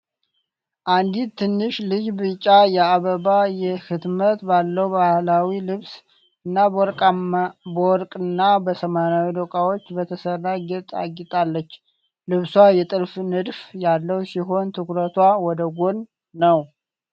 አንዲት ትንሽ ልጅ ቢጫ የአበባ ህትመት ባለው ባህላዊ ልብስ እና በወርቅና በሰማያዊ ዶቃዎች በተሰራ ጌጥ አጊጣለች። ልብሷ የጥልፍ ንድፍ ያለው ሲሆን ትኩረቷ ወደ ጎን ነው።